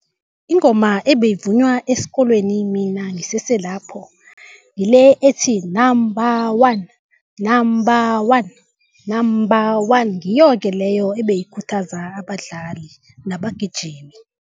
Ingoma ebeyivunywa esikolweni mina ngisese lapho ngile ethi, number one, number one, number one. Ngiyo-ke leyo ebeyikhuthaza abadlali nabagijimi.